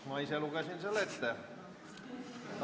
Ma ise lugesin selle ette.